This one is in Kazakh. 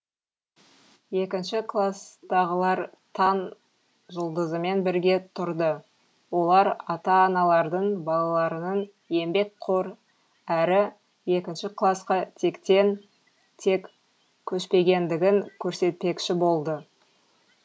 екінші кластағылар таң жұлдызымен бірге тұрды олар ата аналардың балаларының еңбекқор әрі екінші класқа тектен тек көшпегендігін көрсетпекші болды